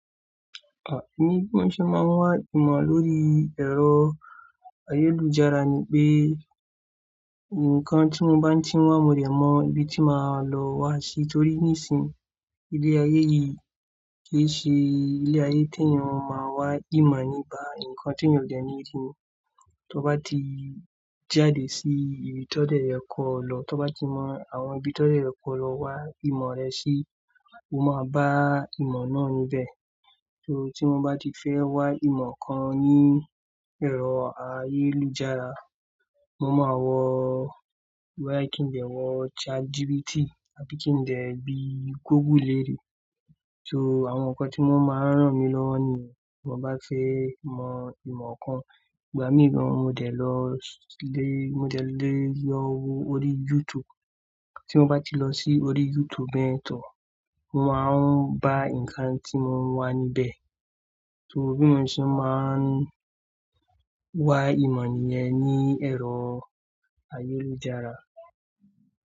Bí mo ṣe máa ń wá ìmọ̀ lórí ẹ̀rọ ayélujára ni pé nǹkan tí mo bá ń ti wá mo dẹ̀ mọ ibi tí màá lọ wá sí torí nísìí, ilé-ayé yìí kì í ṣe ilé-ayé tí èèyàn máa wá ìmọ̀ nípa, ǹkan tí èèyàn ò dẹ̀ ní rí. Tó bá ti jáde sí ibi tọ́ dẹ̀ yẹ kọ̀ lọ, tó bá ti mọ àwọn ibi tọ́ dẹ̀ yẹ kọ̀ lọ wá ìmọ̀ rẹ sí, o máa bá ìmọ̀ náà níbẹ̀. So tí mo bá ti fẹ́ wá ìmọ̀ kan ní ẹ̀rọ ayélujára, mo máa wọ wá kin n de wọ ChatGPT àbí kí n dẹ̀ bi Google lerẹ. So àwọn nǹkan tí mo máa ń ràn mí lọ́wọ́ nìyẹn tí mo bá fẹ́ mọ ìmọ̀ kan. Ìgbà mìí mo dẹ̀ lọ sílé, mo dẹ̀ lé e lọ orí YouTube. Tí mo bá ti lọ s'orí YouTube bẹ́ yẹn, mo máa ń bá nǹkan tí mo ń wá níbẹ̀. So bí mo ṣe máa ń wá ìmọ̀ nìyẹn ní ẹ̀rọ ayélujára.